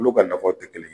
Olu ka nafaw tɛ kelen ye